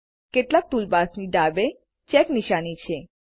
કેટલાક ટૂલબાર્સની ડાબે ચેક નિશાની છે